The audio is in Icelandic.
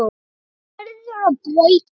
Því verður að breyta.